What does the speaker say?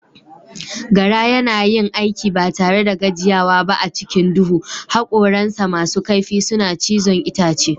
Gara yana yin aiki ba tare da gajiyawa ba a cikin duhu, hakoransa masu kaifi suna cizon itace.